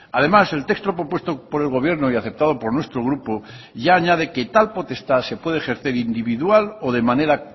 además el texto propuesto por el gobierno y aceptado por nuestro grupo ya añade que tal potestad se puede ejercer individual o de manera